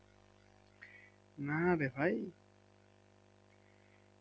না রে ভাই